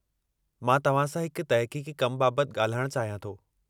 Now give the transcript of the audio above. मां तव्हां सां हिकु तहक़ीक़ी कम बाबति ॻाल्हाइणु चाहियां थो।